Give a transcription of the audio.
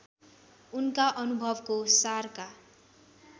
उनका अनुभवको सारका